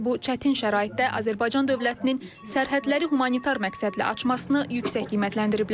Onlar bu çətin şəraitdə Azərbaycan dövlətinin sərhədləri humanitar məqsədli açmasını yüksək qiymətləndiriblər.